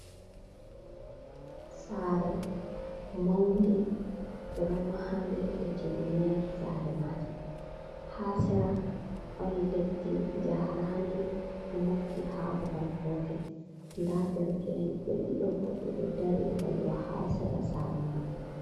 Sare maunde ɓeɗo mahande ɓe timminaki. Sare majum ha sera. Ɗon leddi jarandi do mofti ha babal gotel nda daderke’en ɓe ɗiɗo ɓeɗo dari holwa ha sera sare majum